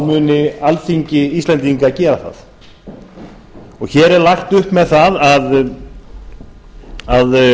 muni alþingi íslendinga gera það hér er lagt upp með það að